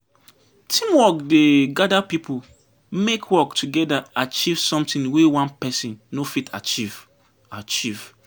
Teamwork dey gather pipo make work togeda achieve sometin wey one pesin no fit achieve achieve.